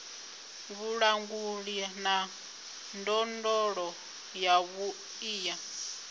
vhulanguli na ndondolo yavhuḓi ya